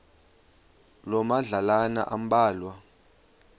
loo madlalana ambalwa